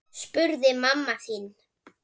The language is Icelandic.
spurði mamma þín.